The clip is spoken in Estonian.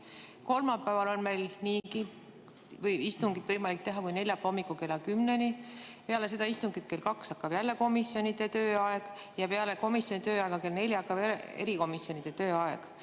Kolmapäeval on istungil võimalik kesta kuni neljapäeva hommikul kella kümneni, peale seda istungit hakkab kell kaks jälle komisjonide tööaeg ja peale komisjoni tööaega hakkab kell neli erikomisjonide tööaeg.